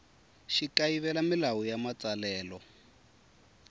xi kayivela milawu ya matsalelo